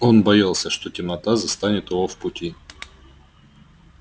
он боялся что темнота застанет его в пути